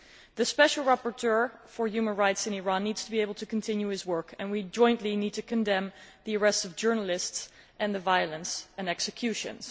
The special rapporteur for human rights in Iran needs to be able to continue his work, and we jointly need to condemn the arrest of journalists and the violence and executions.